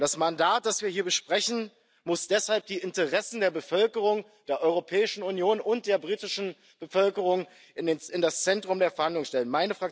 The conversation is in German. Das Mandat, das wir hier besprechen, muss deshalb die Interessen der Bevölkerung der Europäischen Union und der britischen Bevölkerung in das Zentrum der Verhandlungen stellen.